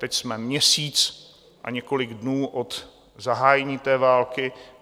Teď jsme měsíc a několik dnů od zahájení té války.